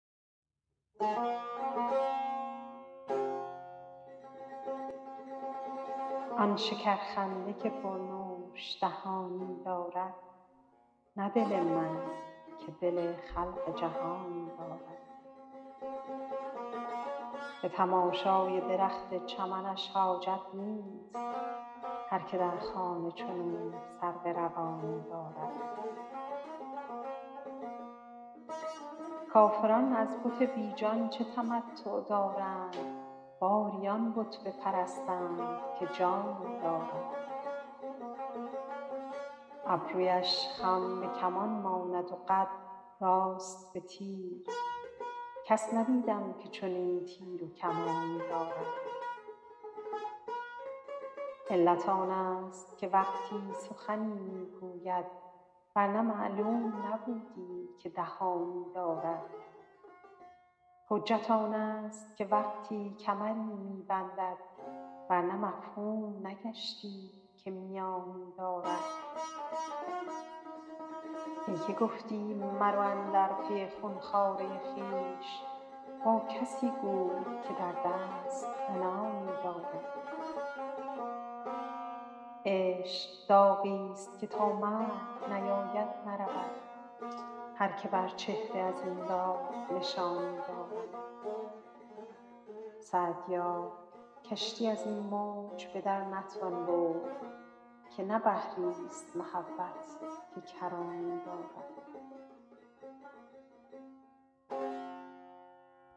آن شکرخنده که پرنوش دهانی دارد نه دل من که دل خلق جهانی دارد به تماشای درخت چمنش حاجت نیست هر که در خانه چنو سرو روانی دارد کافران از بت بی جان چه تمتع دارند باری آن بت بپرستند که جانی دارد ابرویش خم به کمان ماند و قد راست به تیر کس ندیدم که چنین تیر و کمانی دارد علت آنست که وقتی سخنی می گوید ور نه معلوم نبودی که دهانی دارد حجت آنست که وقتی کمری می بندد ور نه مفهوم نگشتی که میانی دارد ای که گفتی مرو اندر پی خون خواره خویش با کسی گوی که در دست عنانی دارد عشق داغیست که تا مرگ نیاید نرود هر که بر چهره از این داغ نشانی دارد سعدیا کشتی از این موج به در نتوان برد که نه بحریست محبت که کرانی دارد